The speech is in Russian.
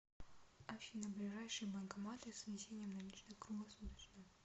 афина ближайшие банкоматы с внесением наличных круглосуточно